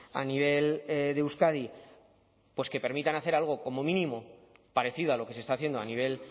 a nivel de euskadi pues que permitan hacer algo como mínimo parecido a lo que se está haciendo a nivel